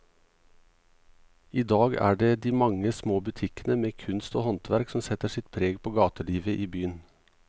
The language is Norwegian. I dag er det de mange små butikkene med kunst og håndverk som setter sitt preg på gatelivet i byen.